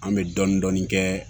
An bɛ dɔɔnin-dɔɔnin kɛ